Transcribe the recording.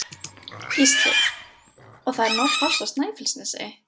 Gísli: Og það er nóg pláss á Snæfellsnesi?